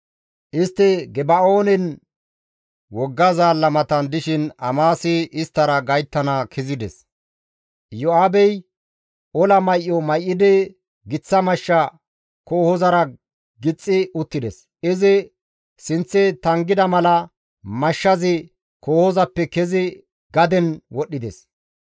Istti Geba7oonen wogga zaalla matan dishin Amasi isttara gayttana kezides; Iyo7aabey ola may7o may7idi giththa mashsha kohozara gixxi uttides; izi sinththe tanggida mala mashshazi kohozappe kezi gaden wodhdhides.